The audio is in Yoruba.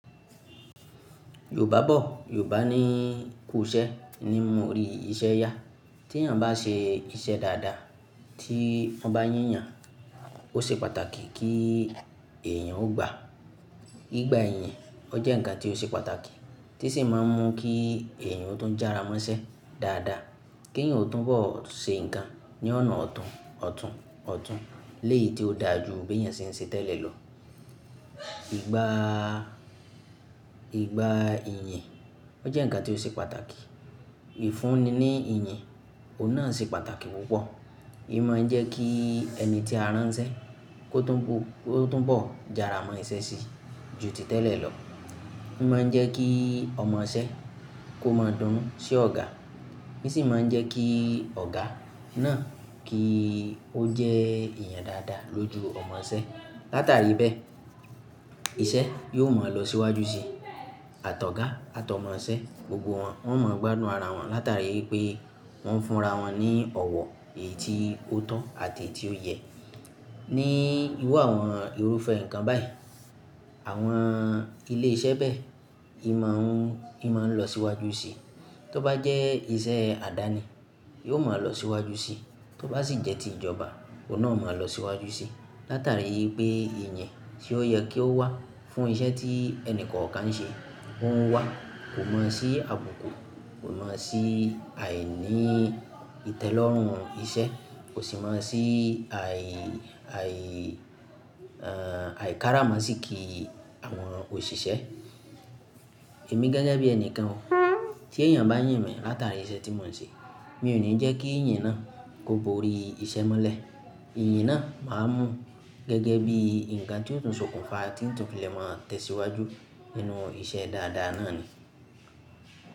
Yorùbá bọ̀, Yorùbá ní kú iṣẹ́ ni mú orí iṣẹ́ ya. Tí èyàn bá ṣe iṣẹ́ dáadáa tí wọ́n bá yín yàn, ó ṣe pàtàkì kí èyàn ó gbàá. Ìgbà iyìn, ó jẹ́ ǹkan tí ó ṣe pàtàkì tí sì máa ń mú kí èyàn ó tún jára mọ́ iṣẹ́ dáadáa, kí èyàn ó tún bọ̀ ṣe ǹkan ní ọ̀nà ọ̀tún ọ̀tún ọ̀tún léyìí tí ó dáa jù bí èyàn ṣe ń ṣe tẹ́lẹ̀ lọ. Ìgbà, ìgbà ìyìn, ó jẹ́ ǹkan tí ó ṣe pàtàkì. Ìfúnni ní ìyìn, òun náà ṣe pàtàkì púpọ̀. N máa ń jẹ́ kí ẹni tí a ránṣẹ́ kó tún, kó tún bọ̀ jára mọ iṣẹ́ si ju tìtẹ́lẹ̀ lọ. Í máa ń jẹ́ kí ọmọṣẹ́ kó máa dúnnú sí ọ̀gá. N sì máa ń jẹ́ kí ọ̀gá náà kí ó jẹ́ èèyàn dáadáa lójú ọmọṣẹ́. Látàrí bẹ́ẹ̀, iṣẹ́ yóò máa lọ síwájú síi àtọ̀ ọ̀gá àtọ́ ọmọṣẹ́, gbogbo wọn, wọ́n ó máa gbádùn ara wọn látàrí pé wọ́n ń fúnra wọn ní ọ̀wọ̀ èyí tí ó tọ́ àti èyí tí ó yẹ. Ní irú àwọn irúfẹ́ ǹkan báyìí, àwọn ilé iṣẹ́ bẹ́ẹ̀, í máa ń, í máa ń lọ síwájú síi. Tóbá jẹ́ iṣẹ́ àdáni, yóò máa lọ síwájú síi. Tóbá sì jẹ́ ti ìjọba, òun náà ó máa lọ síwájú síi. Látàrí pé ìyìn tí ó yẹ kí ó wà fún iṣẹ́ tí ẹnì kọ̀ọ̀kan ń ṣe, ó ń wà. Kò mọ̀ sí àbùkù, kò mọ̀ sí àìní ìtẹ́lọ́rùn iṣẹ́, kò sì mọ̀ sí àì, àì, àìkára mọ́ sí kí àwọn òṣìṣẹ́. Èmi gẹ́gẹ́ bí ẹnìkan o, tí èyàn bá yìn mi látàrí iṣẹ́ tí mò ń ṣe, mi ò ní jẹ́ kí ìyìn náà kó gborí iṣẹ́ mó lẹ̀. Ìyìn náà màá mú gẹ́gẹ́ bí ǹkan tí ó tún ṣokùnfà tí ó tún fi lè máa tẹ̀síwájú nínú iṣẹ́ dáadáa náà ni.